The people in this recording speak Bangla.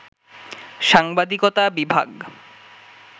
সাংবাদিকতা বিভাগ